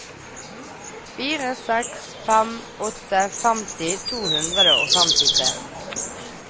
fire seks fem åtte femti to hundre og femtitre